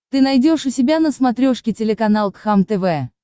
ты найдешь у себя на смотрешке телеканал кхлм тв